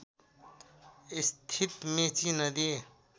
स्थित मेची नदी